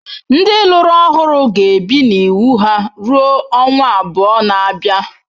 Ndị lụrụ ọhụrụ ga-ebi na iwu ha rue ọnwa abụọ na-abịa!